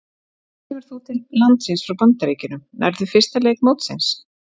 Hvenær kemur þú til landsins frá Bandaríkjunum, nærðu fyrsta leik mótsins?